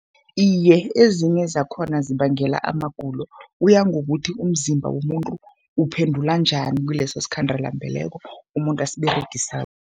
Iye, ezinye zakhona zibangela amagulo, kuya ngokuthi umzimba womuntu uphendula njani kileso sikhandela-mbeleko umuntu asiberegisako.